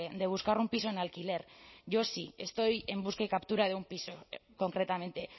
de buscar un piso en alquiler yo sí estoy en busca y captura de un piso concretamente